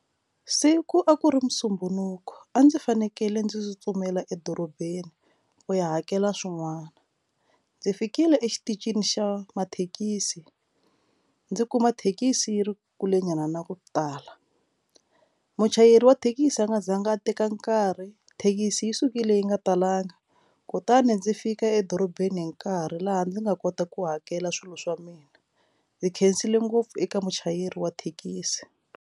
Siku a ku ri musumbunuko a ndzi fanekele ndzi tsutsumela edorobeni u ya hakela swin'wana ndzi fikile exitichini xa mathekisi ndzi kuma thekisi yi ri kule nyana na ku tala muchayeri wa thekisi a nga zanga a teka nkarhi thekisi yi sukile yi nga talanga kutani ndzi fika edorobeni hi nkarhi laha ndzi nga kota ku hakela swilo swa mina ndzi khensile ngopfu eka muchayeri wa thekisi.